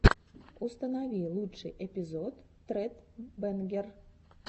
установи лучший эпизод тред бэнгер